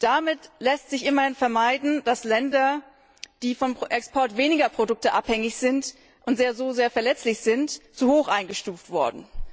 Damit ließ sich immerhin vermeiden, dass Länder, die vom Export weniger Produkte abhängig sind und so sehr verletzlich sind, zu hoch eingestuft wurden.